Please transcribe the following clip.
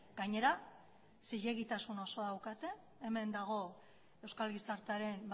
gainera zilegitasun osoa daukate hemen dago euskal gizartearen